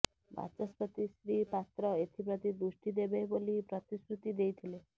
ବାଚସ୍ପତି ଶ୍ରୀ ପାତ୍ର ଏଥିପ୍ରତି ଦୃଷ୍ଟି ଦେବେ ବୋଲି ପ୍ରତିଶ୍ରୁତି ଦେଇଥିଲେ